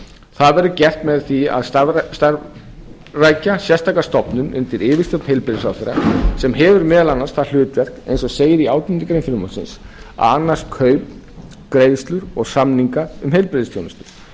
það verður gert með því að starfrækja sérstaka stofnun undir yfirstjórn heilbrigðisráðherra sem hefur meðal annars það hlutverk eins og segir í átjándu grein frumvarpsins að annast kaup greiðslur og samninga um heilbrigðisþjónustu